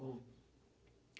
Bom.